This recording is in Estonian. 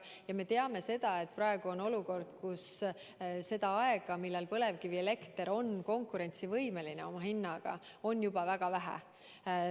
Ja me teame, et praegu on olukord, kus seda aega, millal põlevkivielekter on oma hinna poolest konkurentsivõimeline, on juba väga vähe.